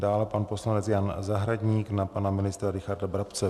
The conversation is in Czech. Dále pan poslanec Jan Zahradník na pana ministra Richarda Brabce.